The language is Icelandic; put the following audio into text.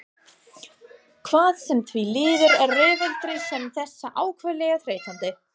Hvað sem því líður eru rifrildi sem þessi ákaflega þreytandi.